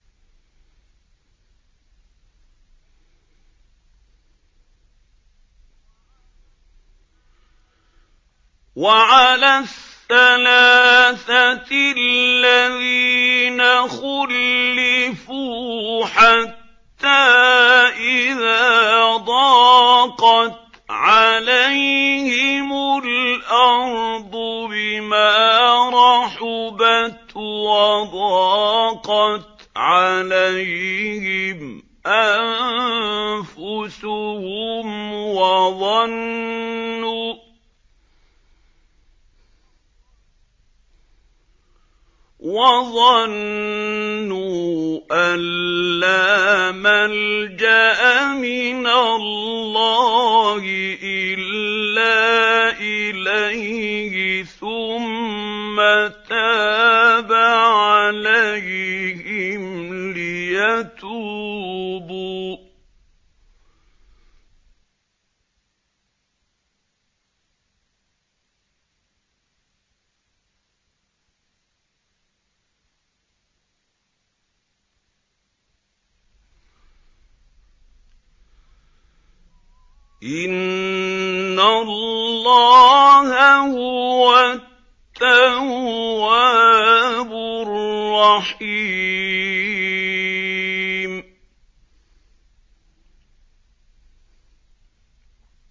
وَعَلَى الثَّلَاثَةِ الَّذِينَ خُلِّفُوا حَتَّىٰ إِذَا ضَاقَتْ عَلَيْهِمُ الْأَرْضُ بِمَا رَحُبَتْ وَضَاقَتْ عَلَيْهِمْ أَنفُسُهُمْ وَظَنُّوا أَن لَّا مَلْجَأَ مِنَ اللَّهِ إِلَّا إِلَيْهِ ثُمَّ تَابَ عَلَيْهِمْ لِيَتُوبُوا ۚ إِنَّ اللَّهَ هُوَ التَّوَّابُ الرَّحِيمُ